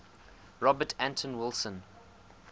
robert anton wilson